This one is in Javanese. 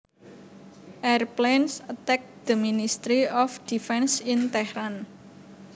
Airplanes attacked the Ministry of Defence in Tehran